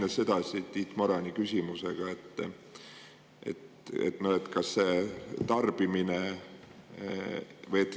Lähen edasi Tiit Marani küsimusega.